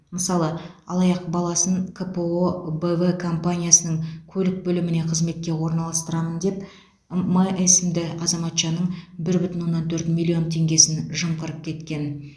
мысалы алаяқ баласын кпо б в компаниясының көлік бөліміне қызметке орналастырамын деп м есімді азаматшаның бір бүтін оннан төрт миллион теңгесін жымқырып кеткен